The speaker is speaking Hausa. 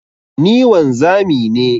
Ni wanzami ne.